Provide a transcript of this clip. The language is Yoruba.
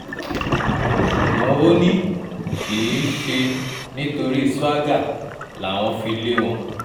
ṣùgbọ́n ó ní kì í ṣe nítorí swaga làwọn fi lé wọn